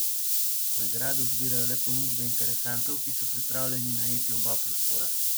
Na Gradu zbirajo le ponudbe interesentov, ki so pripravljeni najeti oba prostora.